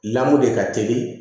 Lamu de ka teli